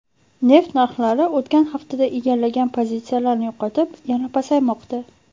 Neft narxlari o‘tgan haftada egallagan pozitsiyalarini yo‘qotib, yana pasaymoqda.